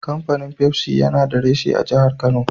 Kafanin Pepsi yana da reshe a jahar Kano.